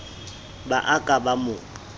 ba a ka ba mo